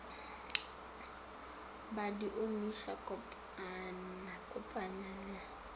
ba di omiša kopanya le